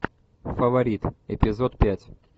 фаворит эпизод пять